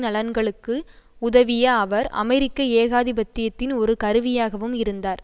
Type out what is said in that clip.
நலன்களுக்கு உதவிய அவர் அமெரிக்க ஏகாதிபத்தியத்தின் ஒரு கருவியாகவும் இருந்தார்